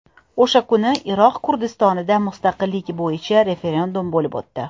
O‘sha kuni Iroq Kurdistonida mustaqillik bo‘yicha referendum bo‘lib o‘tdi.